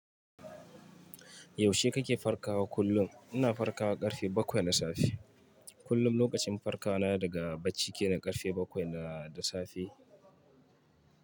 Yaushe kake farkawa kullum? Ina farkawa ƙarfe bakwai na safe. Kullum lokacin farkawa na daga bacci kenan ƙarfe bakwai da safe.